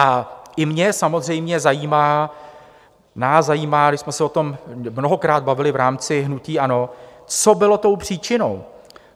A i mě samozřejmě zajímá, nás zajímá, když jsme se o tom mnohokrát bavili v rámci hnutí ANO, co bylo tou příčinou.